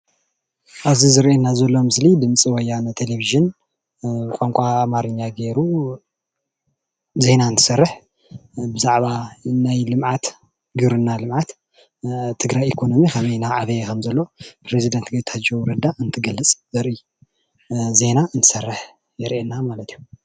እዚ ንሪኦ ዘለና ምስሊ ድምፂ ወያነ ቴለቭዥን ቋንቋ ኣማርኛ ጌሩ ዜና እንትሰርሕ ብዛዕባ ናይ ልምዓት ግብርና ልምዓት ትግራይ ኢኮኖምይ ከመይ እናዕበየ ከም ዘሎ ፕሬዝዳንት ጌታቸው እንትገልፅ ዘርኢ ዜና እንትሰርሕ የሪአና ማለት እዩ ።